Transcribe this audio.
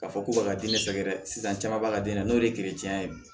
K'a fɔ k'u b'a ka den sɛgɛrɛ sisan caman b'a ka den na n'o ye ye bi